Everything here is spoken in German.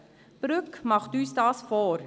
Brügg macht und das vor.